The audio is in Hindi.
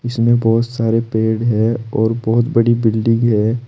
इसमें बहोत सारे पेड़ है और बहोत बड़ी बिल्डिंग है।